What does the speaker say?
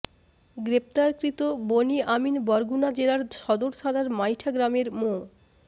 গ্রেপ্তারকৃত বনি আমিন বরগুনা জেলার সদর থানার মাইঠা গ্রামের মো